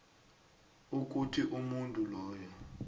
ukuthi umuntu loyo